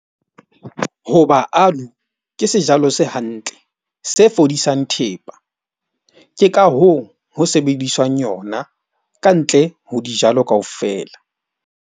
Ho ba ke sejalo se hantle, se fodisang thepa, ke ka hoo ho sebediswang yona kantle ho dijalo kaofela.